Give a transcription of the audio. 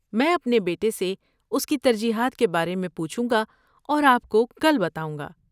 میں اپنے بیٹے سے اس کی ترجیحات کے بارے میں پوچھوں گا اور آپ کو کل بتاؤں گا۔